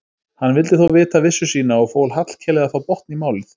Hann vildi þó vita vissu sína og fól Hallkeli að fá botn í málið.